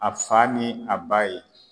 A fa ni a ba ye